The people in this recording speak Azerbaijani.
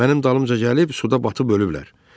Mənim dalımca gəlib suda batıb ölüblər.